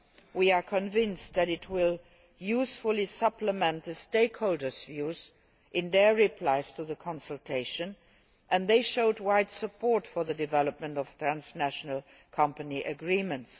We are convinced that it will usefully supplement the stakeholders' views in their replies to the consultation, and they showed wide support for the development of transnational company agreements.